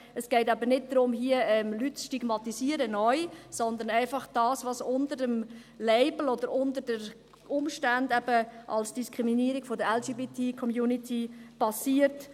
Es geht eben nicht darum, Leute neu zu stigmatisieren, sondern einfach das zu benennen, was unter dem Label oder aufgrund der Umstände als Diskriminierung der LGBTICommunity passiert;